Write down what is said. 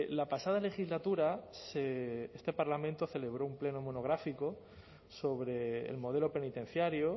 la pasada legislatura este parlamento celebró un pleno monográfico sobre el modelo penitenciario